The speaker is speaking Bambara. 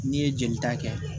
N'i ye jeli ta kɛ